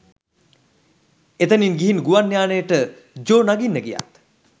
එතනින් ගිහින් ගුවන් යානයට ජෝ නගින්න ගියත්